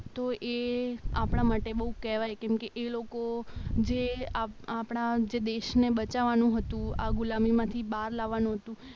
તો એ આપણા માટે બહુ કહેવાય કેમકે એ લોકો જે આપણા જે દેશને બચાવવાનું હતું આ ગુલામ હતી બહાર લાવવાનું હતું